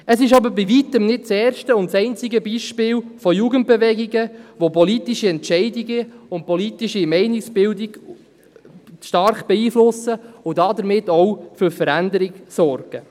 Es ist aber bei Weitem nicht das erste und einzige Beispiel von Jugendbewegungen, die politische Entscheidungen und politische Meinungsbildung stark beeinflussen und damit auch für Veränderung sorgen.